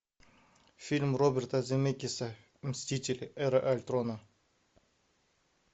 фильм роберта земекеса мстители эра альтрона